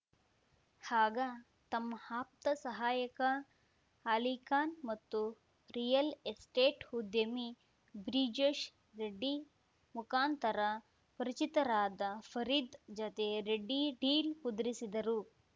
ಆಗ ತಮ್ಮ ಆಪ್ತ ಸಹಾಯಕ ಅಲಿಖಾನ್‌ ಮತ್ತು ರಿಯಲ್‌ ಎಸ್ಟೇಟ್‌ ಉದ್ಯಮಿ ಬ್ರಿಜೇಶ್‌ ರೆಡ್ಡಿ ಮುಖಾಂತರ ಪರಿಚಿತರಾದ ಫರೀದ್‌ ಜತೆ ರೆಡ್ಡಿ ಡೀಲ್‌ ಕುದುರಿಸಿದರು